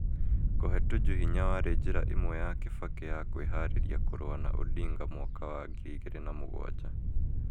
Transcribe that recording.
Kũhe Tuju hinya warĩ njĩra ĩmwe ya Kibaki ya kwĩharĩria kũrũa na Odinga mwaka wa 2007.